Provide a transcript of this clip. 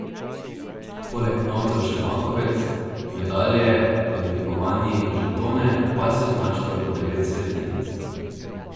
Poleg novcev še bankovec, medalje, odlikovanji, žetone, pasjo značko in devet svetinjic.